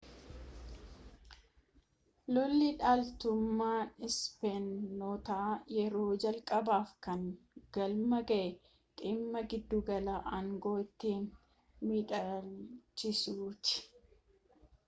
lolli dhaaltummmaa ispeenotaa yeroo jalqabaaf kan galma ga'e dhimma giddu galaa aangoo ittiin madaalchisuuti